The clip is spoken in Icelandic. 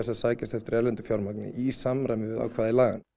að sækjast eftir erlendu fjármagni í samræmi við ákvæði laganna